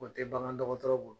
O tɛ bagan dɔgɔtɔrɔ bolo.